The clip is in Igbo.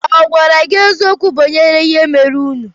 Ọ̀ gwara gị eziokwu banyere ihe merenụ?